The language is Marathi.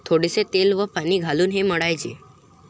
थोडेसे तेल व पाणी घालून हे मळायचे.